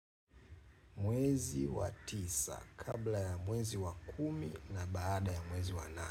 Mwezi wa tisa kabla ya mwezi wa kumi na baada ya mwezi wa nane.